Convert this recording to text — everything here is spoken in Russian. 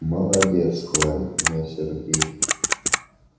молодец хвалит меня сергей